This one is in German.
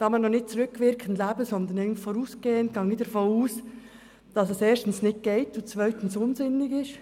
Da wir noch nicht rückwirkend leben, sondern vorausschauend, gehe ich davon aus, dass dies erstens nicht geht und zweitens unsinnig ist.